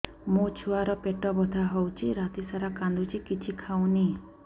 ମୋ ଛୁଆ ର ପେଟ ବଥା ହଉଚି ରାତିସାରା କାନ୍ଦୁଚି କିଛି ଖାଉନି